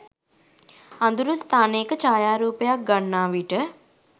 අඳුරු ස්ථානයක ඡායාරූපයක් ගන්නා විට